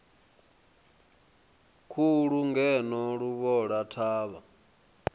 khulu ngeno luvhola i thavha